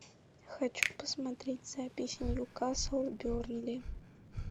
хочу посмотреть запись ньюкасл бернли